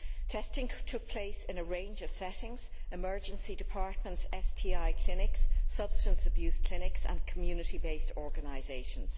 Testing took place in a range of settings emergency departments, STI clinics, substance abuse clinics and community based organisations.